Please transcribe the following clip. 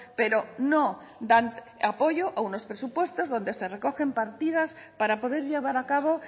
pero no dan apoyo a unos presupuestos donde se recogen partidas para poder llevar a cabo